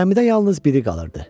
Gəmidə yalnız biri qalırdı.